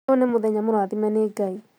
Ũyũnĩ mũthenya mũrathime nĩ ngai